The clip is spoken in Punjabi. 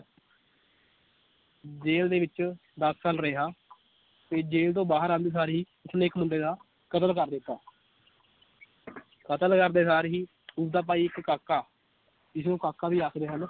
ਜੇਲ ਦੇ ਵਿਚ ਦਸ ਸਾਲ ਰਿਹਾ ਤੇ ਜੇਲ ਤੋਂ ਬਾਹਰ ਆਉਂਦੇ ਸਾਰ ਹੀ ਉਸਨੇ ਇਕ ਮੁੰਡੇ ਦਾ ਕਤਲ ਕਰ ਦਿੱਤਾ ਕਤਲ ਕਰਦੇ ਸਾਰ ਹੀ ਉਸ ਦਾ ਭਾਈ ਇਕ ਕਾਕਾ ਜਿਸਨੂੰ ਕਾਕਾ ਵੀ ਆਖਦੇ ਹਨ l